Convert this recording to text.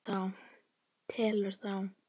Telur þá.